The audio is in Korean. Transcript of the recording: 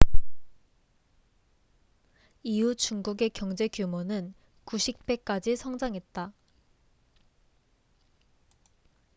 이후 중국의 경제규모는 90배까지 성장했다